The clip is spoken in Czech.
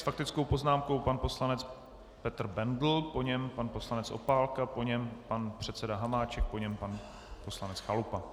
S faktickou poznámkou pan poslanec Petr Bendl, po něm pan poslanec Opálka, po něm pan předseda Hamáček, po něm pan poslanec Chalupa.